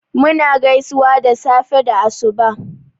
Mu na gaisuwan safe da asuba